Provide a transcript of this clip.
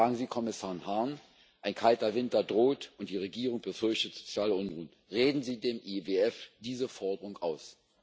Fragen Sie Kommissar Hahn Ein kalter Winter droht, und die Regierung befürchtet soziale Unruhen. Reden Sie dem IWF diese Forderung aus!